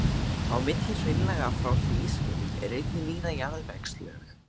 Á milli hraunlaga frá hlýskeiðum eru einnig víða jarðvegslög.